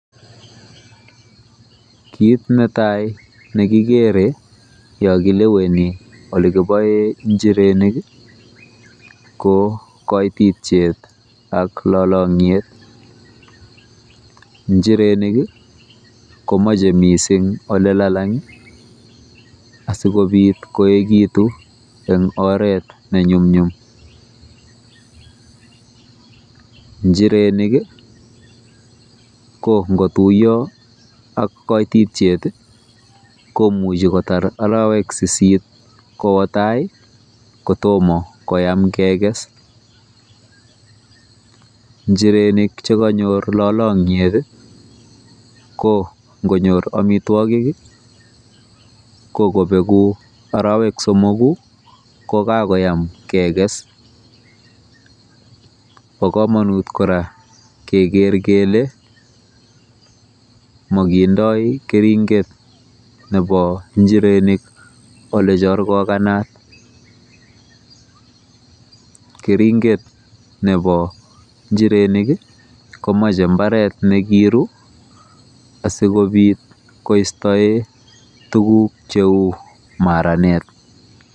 kiit netai negigere yon kileweni olekiboen njirenik ii, ko koititiet ak lolong'wet, njirenik ii komoche missing olelalang ii asikobit koegitun en oret neny'umny'um, njirenik ii ko ngotuyo ak koititiet ii komuche kotar arawek sisit kootai kotoma keges, njirenik chekonyor lolongyet ii ko ngonyor omitwogik ii ko kobegu arawek somogu ko kagoyam keges, bo komonut kora keger kele mogindoi keringet nebo njirenik olechorgoganat, kering'et nebo njirenik ii komache mbaret nekiru asikobit koistoe tukuk cheu maranet.